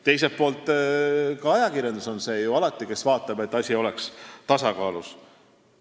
Teiselt poolt on ju ka ajakirjandus alati see, kes vaatab, et asi oleks tasakaalus.